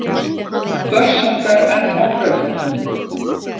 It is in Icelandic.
Börsungar enn á brauðfótum.